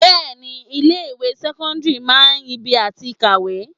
Bẹẹni ilé ìwé sẹ́kọ́ńdírì máa ń ibi àti kàwé.